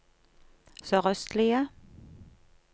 sørøstlige